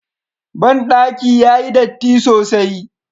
Bandaki yayi datti sosai.